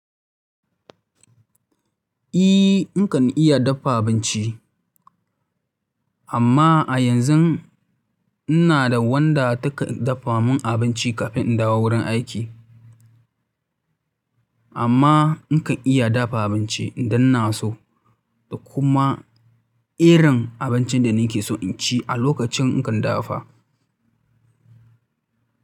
I nakan iya dafa abinci amma a yanzun ina da wanda take dafa mun abinci kafin in dawo wurin aiki. Amma nakan iya dafa abinci idan na so kuma irin abincin da nake so in ci a lokacin in kan dafa.